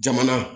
Jamana